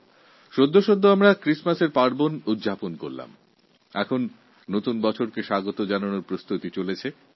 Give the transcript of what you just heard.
কিছুদিন আগে আমরা Christmasপালন করেছি আর এখন নতুন বছরকে স্বাগত জানানোর প্রস্তুতি চলছে